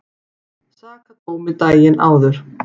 Sakadómi daginn áður.